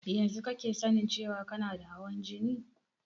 Yanzu kake sanin cewan kana da hawan jini?